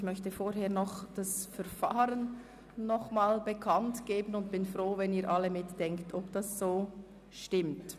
Ich möchte vorher nochmals das Verfahren bekannt geben und bin froh, wenn Sie alle mitdenken und überlegen, ob es so richtig ist.